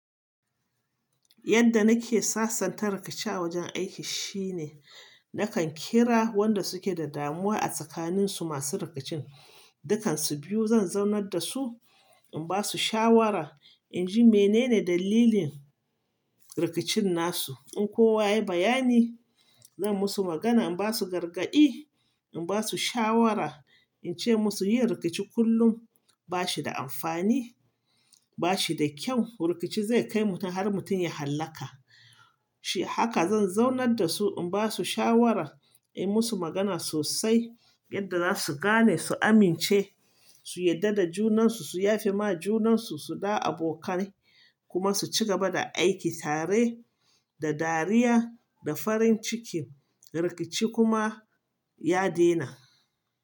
Yadda nake sasanta rikici a wajen aiki shine nakan kira wanda suke da damuwa a tsakanin su masu rikicin, dukansu biyu zan zaunar da su, in basu shawara, in ji menene dalilin rikicin nasu. In kowa yayi bayani, zan musu magana, in basu gargaɗi, in basu shawara, in ce musu yin rikici kullum ba shi da amfani, ba shi da kyau. Rikici zai kai mutum har mutum ya hallaka. Haka zan zaunar da su, in basu shawara, in yi musu magana sosai yadda za su gane, su amince, su yarda da junansu, su yafe ma junansu, su da abokai kuma su ci gaba da aiki tare da dariya da farin ciki, rikici kuma ya daina.